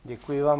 Děkuji vám.